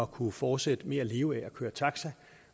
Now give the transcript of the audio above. kunne fortsætte med at leve af at køre taxa